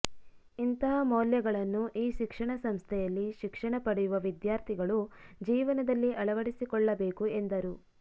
ಇಂತಹ ಮೌಲ್ಯಗಳನ್ನು ಈ ಶಿಕ್ಷಣ ಸಂಸ್ಥೆಯಲ್ಲಿ ಶಿಕ್ಷಣ ಪಡೆಯುವ ವಿದ್ಯಾರ್ತಿಗಳು ಜೀವನದಲ್ಲಿ ಅಳವಡಿಸಿಕೊಳ್ಳಬೇಕು ಎಂದರು